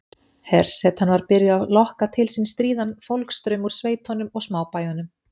Hersetan var byrjuð að lokka til sín stríðan fólksstraum úr sveitunum og smábæjunum.